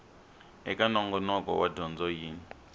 eka nongonoko wa dyondzo yin